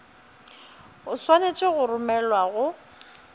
o swanetše go romelwa go